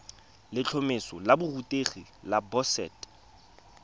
letlhomeso la borutegi la boset